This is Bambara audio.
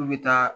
K'u bɛ taa